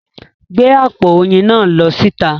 Gbé àpò oyin náà lọ síta!